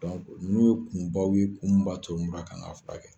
nun ye kunbaw ye kun min b'a to mura ka kan ka furakɛ.